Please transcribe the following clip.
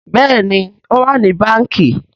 Béèni o wá ní Bánkì.